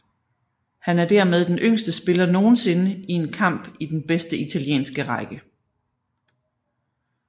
Han er dermed den yngste spiller nogensinde i en kamp i den bedste italienske række